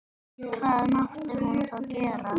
Hvað mátti hún þá gera?